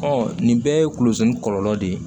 nin bɛɛ ye kulozɛn kɔlɔlɔ de ye